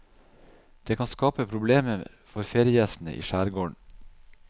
Det kan skape problemer for feriegjestene i skjærgården.